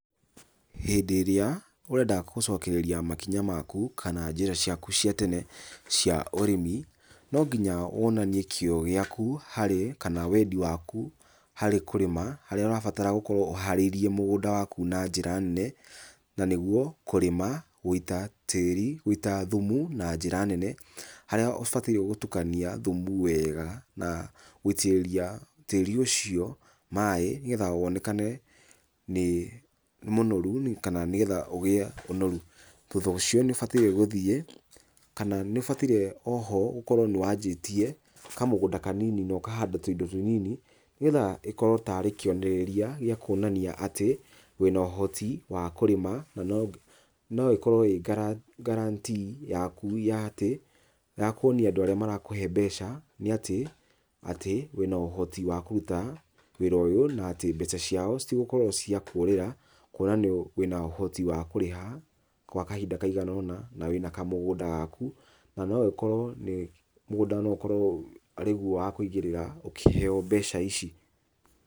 Hĩndĩ ĩrĩa ũrenda gũcokereria makinya maku kana njĩra ciaku cia tene cia ũrĩmi ,nonginya wonanie kĩo gĩaku harĩ kana wendi waku harĩ kũrĩma harĩa ũgũkora ũharĩirie mũgũnda waku na njĩra nene na nĩguo kũrĩma, gũita tĩri, gũita thumu na njĩra nene harĩa ũbatie gũtukania thumu wega na gũitĩrĩria tĩrĩ ũcio maĩ ,nĩgetha wonekane nĩ mũnoru kana nĩgetha ũgĩe ũnoru. Thutha wa ũcio nĩ ũbataire gũthiĩ ,kana nĩ ũbataire oho gũkorwo nĩwajĩtie kamũgũnda kanini ũkahanda tũindo tũnini nĩgetha ĩkorwe tarĩ kĩonereria gĩa kwonania atĩ wĩna ũhoti wa kũrĩma na noĩkorwe ĩ guarantee yaku ya atĩ ya kũonia andũ arĩa makumahe mbeca nĩatĩ atĩ wíĩana ohoti wa kũruta wĩra ũyũ na atĩ mbeca ciao citigũkorwo cia kũrĩra kwona wĩna ũhoti wa kũrĩha gwa kahinda kaigana ũna na wĩna kamũgũnda gaku na noĩkorwo nĩ, mũgũnda noĩkorwe wa kũigĩrĩra ũkĩheo mbeca ici.